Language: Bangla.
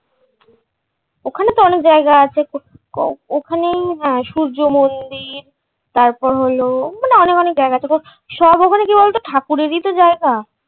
ওখানে তো অনেক জায়গা আছে উহ ওখানেই হ্যাঁ সূর্য্যমন্দির তারপর হলো মনে অনেক অনেক জায়গা আছে সব ওখানে কী বলত ঠাকুরের ই তো জায়গা।